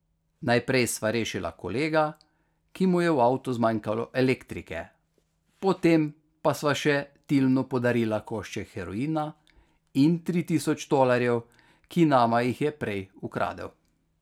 Najprej sva rešila kolega, ki mu je v avtu zmanjkalo elektrike, potem pa sva še Tilnu podarila košček heroina in tri tisoč tolarjev, ki nama jih je prej ukradel.